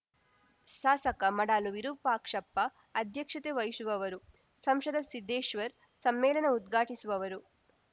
ಶಾಸಕ ಮಡಾಳು ವಿರೂಪಾಕ್ಷಪ್ಪ ಅಧ್ಯಕ್ಷತೆ ವಹಿಶುವವರು ಸಂಸದ ಸಿದ್ದೇಶ್ವರ್‌ ಸಮ್ಮೇಳನ ಉದ್ಘಾಟಿಸುವವರು